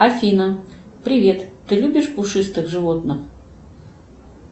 афина привет ты любишь пушистых животных